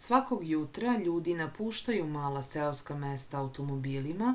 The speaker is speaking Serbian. svakog jutra ljudi napuštaju mala seoska mesta automobilima